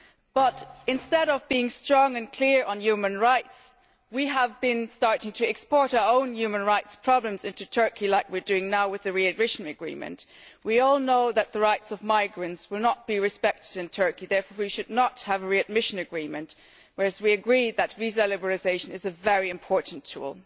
But instead of being strong and clear on human rights we have been starting to export our own human rights problems into Turkey, as we are doing now with the readmission agreement. We all know that the rights of migrants will not be respected in Turkey, therefore we should not have a readmission agreement, whereas we agreed that visa liberalisation is a very important tool.